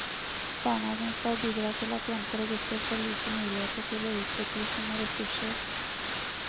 Barnehagen skal bidra til at jenter og gutter får like muligheter til å utvikle sine ressurser.